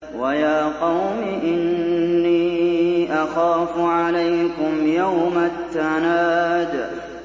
وَيَا قَوْمِ إِنِّي أَخَافُ عَلَيْكُمْ يَوْمَ التَّنَادِ